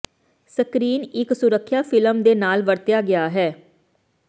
screen ਇੱਕ ਸੁਰੱਖਿਆ film ਦੇ ਨਾਲ ਵਰਤਿਆ ਗਿਆ ਹੈ